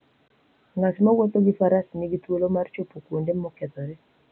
Ng'at mowuotho gi faras nigi thuolo mar chopo kuonde mokethore.